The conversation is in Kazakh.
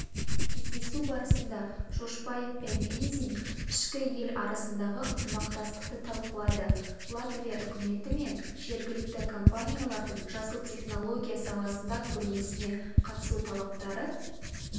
кездесу барысында жошбаев пен эндзиньш кі ел арасындағы ынтымақтастықты талқылады латвия үкіметі мен жергілікті компаниялардың жасыл технология саласында көрмесіне қатысу талаптары